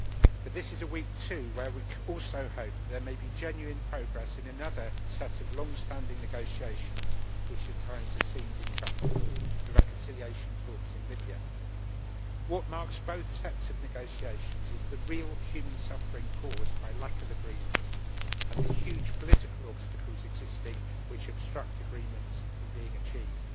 But this is a week where we also hope there may be genuine progress in another set of long standing negotiations which at times had seemed intractable the reconciliation talks in Libya. What marks both sets of negotiations is the real human suffering caused by lack of agreement, and the huge political obstacles existing which obstruct agreements from being achieved.